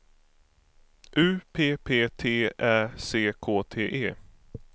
U P P T Ä C K T E